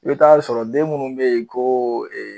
U bi taa sɔrɔ den munnu be yen ko